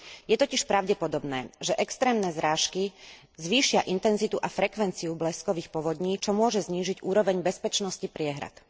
Je totiž pravdepodobné, že extrémne zrážky zvýšia intenzitu a frekvenciu bleskových povodní, čo môže znížiť úroveň bezpečnosti priehrad.